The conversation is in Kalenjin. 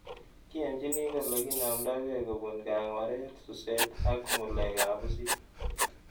Kiyanchini kole kinamdaikei kopun kang'waret, suset ak ng'ulek ab pusit